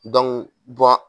Don bɔn